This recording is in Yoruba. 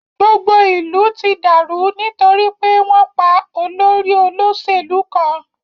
Gbogbo ìlú ti dàrú nítorí pé wọn pá olórí olóṣèlú kan.